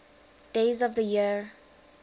days of the year